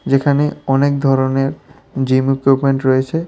যেখানে অনেক ধরনের জিম ইকুইপমেন্ট রয়েছে।